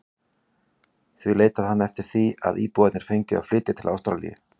Því leitaði hann eftir því að íbúarnir fengju að flytjast til Ástralíu.